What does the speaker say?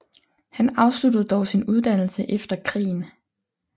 Han afsluttede dog sin uddannelse efter krigen